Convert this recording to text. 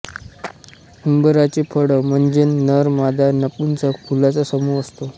उंबराचे फळ म्हणजे नर मादा नपुंसक फुलांचा समूह असतो